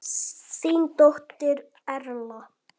Þín dóttir Erla.